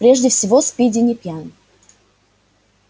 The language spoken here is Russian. прежде всего спиди не пьян